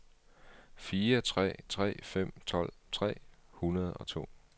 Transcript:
fire tre tre fem tolv tre hundrede og to